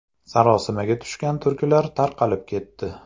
Sarosimaga tushgan turklar tarqalib ketdi.